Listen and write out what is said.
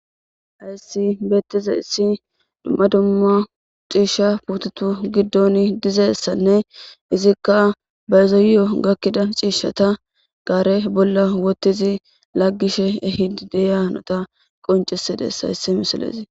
aysi beettize issi dumma dumma ciishsha putetu giddon dizessanne izikka baezoyiyo gakkida ciishata gaare bolla wotizi laggishe e hidideyanota qoncisidess hayssi misalezi